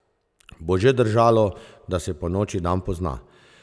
Bo že držalo, da se po noči dan pozna!